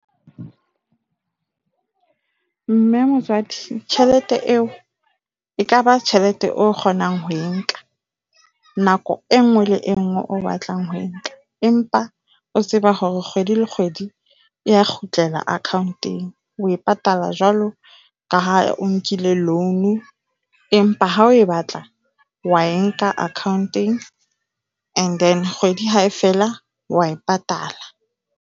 Mme motswadi, tjhelete eo e ka ba tjhelete o kgonang ho e nka nako e nngwe le e nngwe o batlang ho e nka. Empa o tseba hore kgwedi le kgwedi e a kgutlela account-eng. O e patala jwalo ka ha o nkile loan, empa ha o e batla wa e nka account-eng. And then kgwedi ha fela o a e patala.